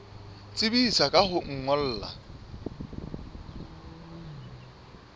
tsebisa ka ho o ngolla